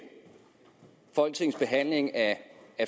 folketingets behandling af